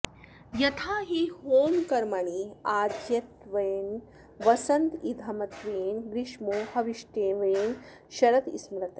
यथा हि होमकर्मणि आज्यत्वेन वसन्त इध्मत्वेन ग्रीष्मो हविष्ट्वेन शरत् स्मृतः